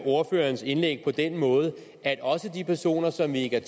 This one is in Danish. ordførerens indlæg på den måde at også de personer som vi ikke er